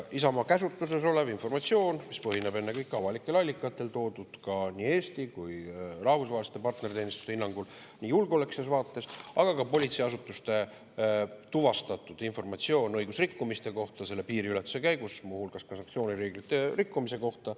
Isamaa käsutuses olev informatsioon põhineb ennekõike avalikel allikatel, mis on toodud nii Eesti kui ka rahvusvaheliste partnerteenistuste hinnangul julgeolekulises vaates, aga ka politseiasutuste tuvastatud informatsioonil õigusrikkumiste kohta piiriületuse käigus, muu hulgas ka sanktsioonireeglite rikkumise kohta.